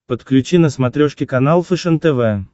подключи на смотрешке канал фэшен тв